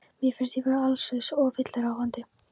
Mér finnst ég vera allslaus og villuráfandi.